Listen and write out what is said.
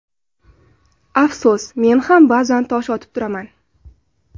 Afsus men ham ba’zan tosh otib turaman.